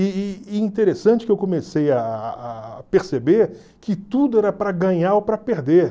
E e e interessante que eu comecei a perceber que tudo era para ganhar ou para perder.